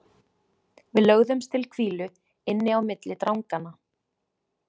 Við lögðumst til hvílu inni á milli dranganna.